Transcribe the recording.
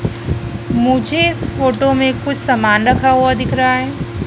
मुझे इस फोटो में कुछ समान रखा हुआ दिख रहा है।